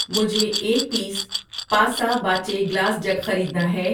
مجھے ایک پیس پاسہ باچے گلاس جگ خریدنا ہے۔